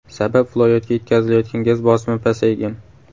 Sabab viloyatga yetkazilayotgan gaz bosimi pasaygan.